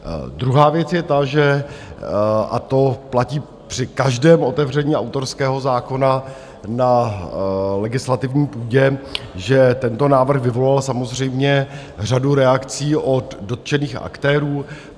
Druhá věc je ta, že - a to platí při každém otevření autorského zákona na legislativní půdě - že tento návrh vyvolal samozřejmě řadu reakcí od dotčených aktérů.